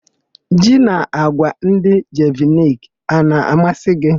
Ji na àgwà ndị Jeviniki a na-amasị gị?